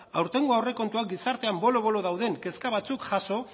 aurtengo aurrekontuak gizartean bolo bolo dauden kezka batzuk jaso